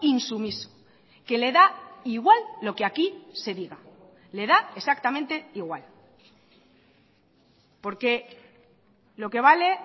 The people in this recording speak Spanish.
insumiso que le da igual lo que aquí se diga le da exactamente igual porque lo que vale